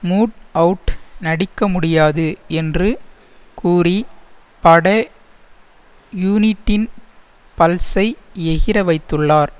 mood out நடிக்க முடியாது என்று கூறி பட யூனிட்டின் பல்ஸை எகிற வைத்துள்ளார்